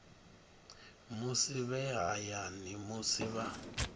musi vhe hayani musi vha